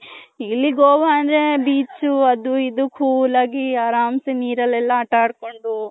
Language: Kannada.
ಇಲ್ಲಿ ಗೋವ ಅಂದ್ರೆ beach ಅದು ಇದು cool ಆಗಿ ಅರಂಸೆ ನೀರಲ್ ಎಲ್ಲಾ ಆಟಾಡ್ ಕೊಂಡು.